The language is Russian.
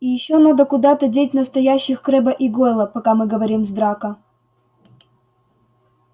и ещё надо куда-то деть настоящих крэбба и гойла пока мы говорим с драко